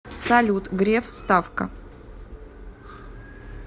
салют греф ставка